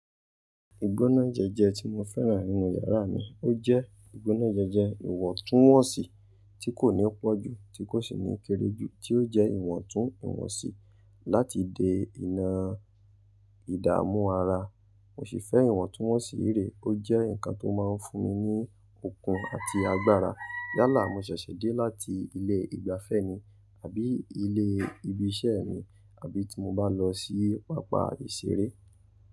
Ìgbónájẹjẹ tí mo fẹ́ràn nínú yàrá mi, ó jẹ́ ìgbónájẹjẹ ìwọ̀ntúnwọ̀nsì tí kò ní pọ̀jù, tí kò sì ní kéré jù, tí ó jẹ́ ìwọ̀ntún ìwọ̀nsí láti de ìnà ìdààmú ara. Mo ṣì fẹ́ ìwọ̀ntúnwọ̀nsì réré, ó jẹ́ nǹkan tó máa ń fún mi ní okun àti agbára. Yálà, mo ṣẹ̀ṣẹ̀ dé láti ilé ìgbafẹ́ ni àbí ilé ibi iṣẹ́ mi, àbí tí mo bá lọ sí pápá ìṣeré.